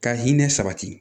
Ka hinɛ sabati